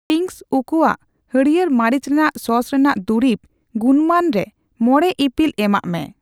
Ching's ᱩᱠᱩᱭᱟᱜ ᱦᱲᱭᱟᱹᱨ ᱢᱟᱹᱨᱤᱪ ᱨᱮᱱᱟᱜ ᱥᱚᱥ ᱨᱮᱱᱟᱜ ᱫᱩᱨᱤᱵᱽ ᱜᱩᱱᱢᱟᱱ ᱨᱮ ᱢᱚᱲᱮ ᱤᱯᱤᱞ ᱮᱢᱟᱜ ᱢᱮ ᱾